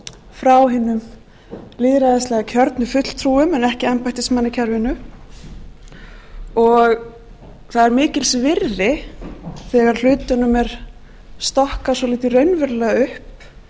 frá hinum lýðræðislega kjörnu fulltrúum en ekki embættismannakerfinu það er mikils virði þegar hlutunum er stokkað svolítið raunverulega upp